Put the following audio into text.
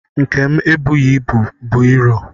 Nke m ebughị ibu bụ iro